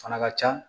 Fana ka ca